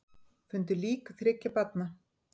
Fundu lík þriggja barna